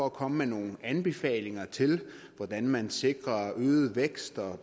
at komme med nogle anbefalinger til hvordan man sikrer øget vækst